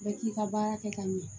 Bɛɛ k'i ka baara kɛ ka ɲɛ